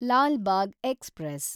Lal Bagh express